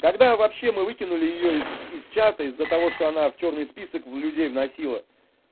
когда вообще мы выкинули её из из чата из-за того что она в чёрный список в людей вносила